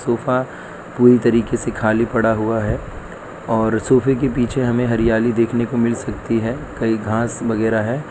Sofa पूरी तरीके से खाली पड़ा हुआ है और सोफा के पीछे हमें हरियाली देखने को मिल सकती है कई घास वगैरा है।